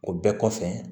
O bɛɛ kɔfɛ